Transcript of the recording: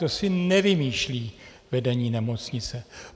To si nevymýšlí vedení nemocnice.